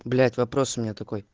блять вопрос у меня такой